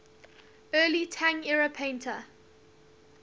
early tang era painter